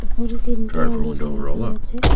উপরে তিনটি আলো জ্বালানো আছে।